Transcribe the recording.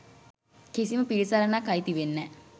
කිසිම පිළිසරණක් අයිති වෙන්නේ නෑ